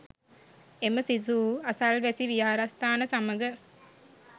එම සිසුහු අසල්වැසි විහාරස්ථාන සමග